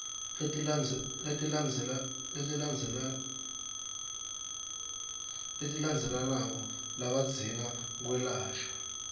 letilandzelandzelako labadzinga kwelashwa